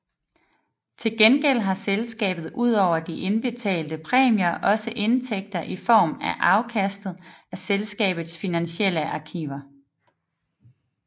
Til gengæld har selskabet udover de indbetalte præmier også indtægter i form af afkastet af selskabets finansielle aktiver